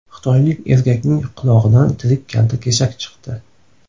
Xitoylik erkakning qulog‘idan tirik kaltakesak chiqdi.